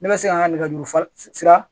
Ne ma se ka nɛgɛjuru faris siran